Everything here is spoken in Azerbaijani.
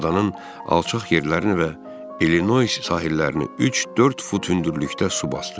Adanın alçaq yerlərini və İllinois sahillərini üç-dörd fut hündürlükdə su basdı.